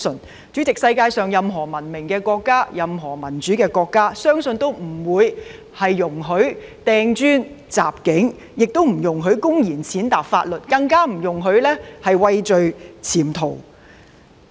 主席，我相信世界上任何文明國家或民主國家均不會容許掟磚和襲警，亦不會容許公然踐踏法律，更會不容許疑犯畏罪潛逃。